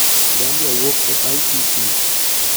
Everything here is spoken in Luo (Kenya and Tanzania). Gambia wuok e ICC.